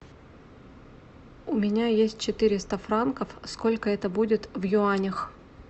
у меня есть четыреста франков сколько это будет в юанях